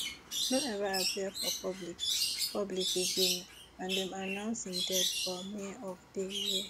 no ever appear for public public again and dem announce im death for may of day year